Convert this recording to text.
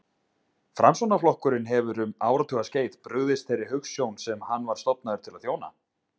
Framsóknarflokkurinn hefur um áratugaskeið brugðist þeirri hugsjón sem hann var stofnaður til að þjóna.